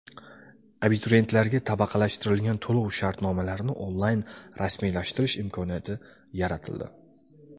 Abituriyentlarga tabaqalashtirilgan to‘lov-shartnomalarini onlayn rasmiylashtirish imkoniyati yaratildi.